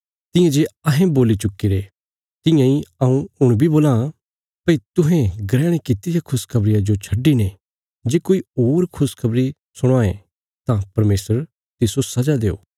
तियां जे अहें बोल्ली चुक्कीरे तियां इ हऊँ हुण भीं बोलां भई तुहें ग्रहण कित्ती रिया खुशखबरिया जो छड्डिने जे कोई होर खुशखबरी सुणावां तां परमेशर तिस्सो सजा देओ